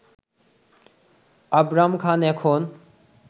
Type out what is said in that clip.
আবরাম খান এখন